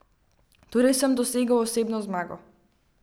Torej sem dosegel osebno zmago.